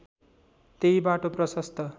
त्यही बाटो प्रशस्त